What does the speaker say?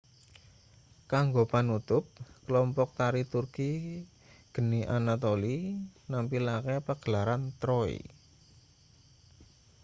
kanggo panutup kelompok tari turki geni anatolia nampilake pagelaran troy